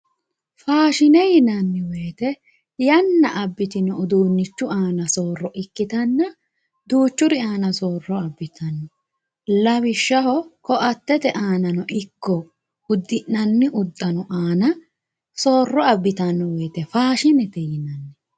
faashine yinanni woyiite yana abitino uduunichu aani sooro ikkitanna duuchuri aana sooro abitanno lawishshaho ko'atete aanano ikko uddi'nanni udano aana sooro abitanno wooyiite faashinete yinanni